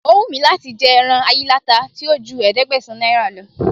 O wù mí láti jẹ ẹran ayíláta tí ò ju ẹ̀ẹ́dẹ́gbẹ̀sán náírà lọ